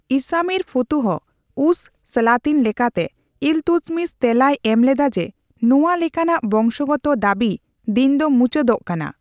ᱤᱥᱟᱢᱤᱨ ᱯᱷᱩᱛᱩᱦᱚᱼᱩᱥᱼᱥᱟᱞᱟᱛᱤᱱ ᱞᱮᱠᱟᱛᱮ, ᱤᱞᱛᱩᱛᱢᱤᱥ ᱛᱮᱞᱟᱭ ᱮᱢ ᱞᱮᱫᱟ ᱡᱮ ᱱᱚᱣᱟ ᱞᱮᱠᱟᱱᱟᱜ ᱵᱚᱝᱥᱚ ᱜᱚᱛᱚ ᱫᱟᱹᱵᱤ ᱫᱤᱱ ᱫᱚ ᱢᱩᱪᱟᱹᱫᱚᱜ ᱠᱟᱱᱟ ᱾